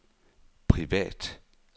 privat